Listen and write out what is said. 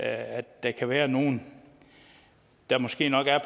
at der kan være nogle der måske nok er